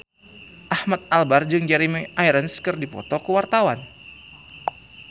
Ahmad Albar jeung Jeremy Irons keur dipoto ku wartawan